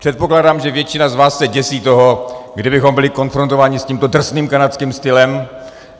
Předpokládám, že většina z vás se děsí toho, kdybychom byli konfrontováni s tímto drsným kanadským stylem.